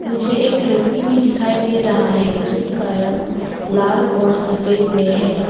मुझे एक रस्सी भी दिखाई दे रहा है जिसका रंग लाल और सफेद में है।